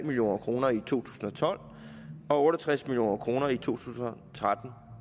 million kroner i to tusind og tolv og otte og tres million kroner i to tusind og tretten